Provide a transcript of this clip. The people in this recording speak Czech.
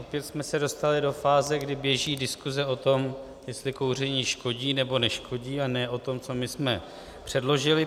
Opět jsme se dostali do fáze, kdy běží diskuse o tom, jestli kouření škodí, nebo neškodí, a ne o tom, co my jsme předložili.